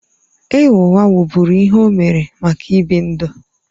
Ịgha ụgha wụ́bụ́ru ihe o mere maka ịbi ndụ.